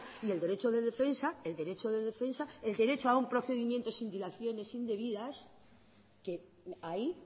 y el derecho de defensa el derecho de defensa el derecho a un procedimiento sin dilaciones indebidas que ahí